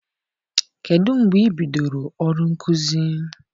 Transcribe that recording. Kedụ mgbe i bidoro ọrụ nkuzi?